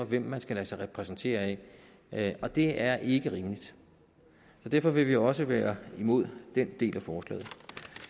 hvem man skal lade sig repræsentere af og det er ikke rimeligt så derfor vil vi også være imod den del af forslaget